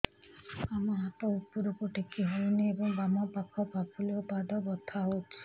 ବାମ ହାତ ଉପରକୁ ଟେକି ହଉନି ଏବଂ ବାମ ପାଖ ପାପୁଲି ଓ ପାଦ ବଥା ହଉଚି